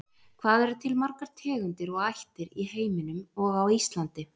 Hvað eru til margar tegundir og ættir í heiminum og á Íslandi?